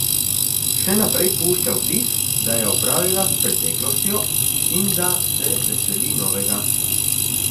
Še naprej pušča vtis, da je opravila s preteklostjo in da se veseli novega.